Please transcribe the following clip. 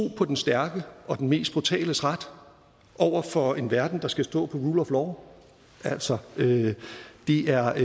på den stærkes og den mest brutales ret over for en verden der skal stå på rule of law altså det er